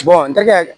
n tɛgɛ